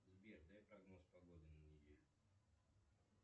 сбер дай прогноз погоды на неделю